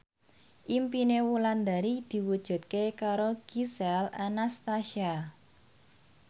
impine Wulandari diwujudke karo Gisel Anastasia